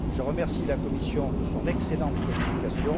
Je remercie la Commission de son excellente communication.